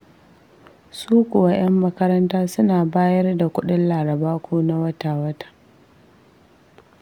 Su kuwa 'yan makaranta suna bayar da kuɗin Laraba ko na wata-wata.